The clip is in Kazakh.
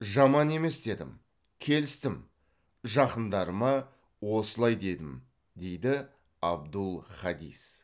жаман емес дедім келістім жақындарыма осылай дедім дейді абдул хадис